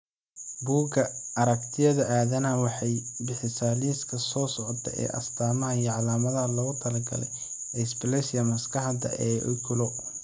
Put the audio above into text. Bugga Aragtiyaha Aadanaha waxay bixisaa liiska soo socda ee astaamaha iyo calaamadaha loogu talagalay dysplasia maskaxda ee Oculo.